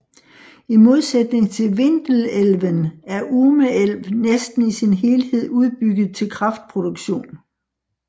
I modsætning til Vindelälven er Ume älv næsten i sin helhed udbygget til kraftproduktion